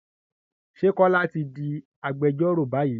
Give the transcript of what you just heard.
Ṣé Kọ́lá ti di agbẹjọ́rò báyìí?